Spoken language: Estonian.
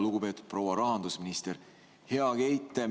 Lugupeetud proua rahandusminister, hea Keit!